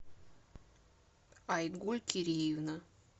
айгуль кириевна